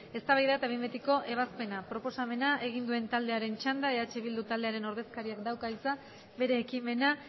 eztabaida eta behin betiko ebazpena proposamena egin duen taldearen txanda eh bilduren ordezkariak dauka hitza bere ekimena